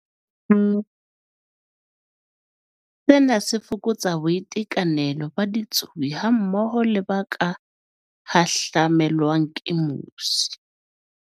Sena se fokotsa boitekanelo ba ditsubi hammoho le ba ka hahlamelwang ke mosi.